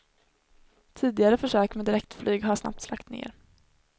Tidigare försök med direktflyg har snabbt lagts ned.